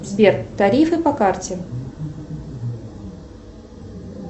сбер тарифы по карте